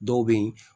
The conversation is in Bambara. Dɔw bɛ yen